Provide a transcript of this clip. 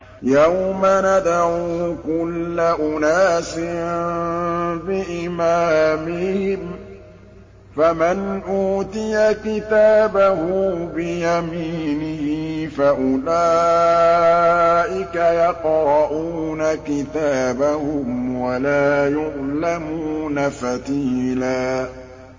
يَوْمَ نَدْعُو كُلَّ أُنَاسٍ بِإِمَامِهِمْ ۖ فَمَنْ أُوتِيَ كِتَابَهُ بِيَمِينِهِ فَأُولَٰئِكَ يَقْرَءُونَ كِتَابَهُمْ وَلَا يُظْلَمُونَ فَتِيلًا